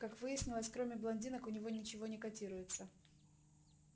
как выяснилось кроме блондинок у него ничего не котируется